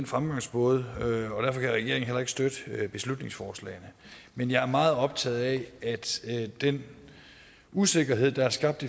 fremgangsmåden og derfor kan regeringen heller ikke støtte beslutningsforslagene men jeg er meget optaget af den usikkerhed der er skabt